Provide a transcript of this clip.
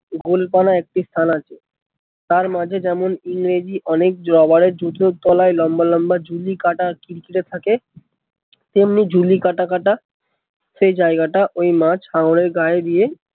গোলপানা একটি স্থান আছে তার মাঝে যেমন ইংরেজি অনেক জোয়া লম্বা লম্বা জুনি কাটা কিরকিরে থাকে তেমনি জুলি কাটা কাটা সেই জায়গা টা ওই মাছ হাঙ্গর এর গায়ে দিয়ে